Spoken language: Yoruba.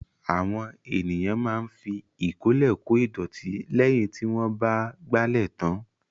Àwọn ènìyàn máa ń fi ìkọ́lẹ̀ kô ìdọ̀tí lẹ́yìn tí wọ́n bá ìgbálẹ̀ tán.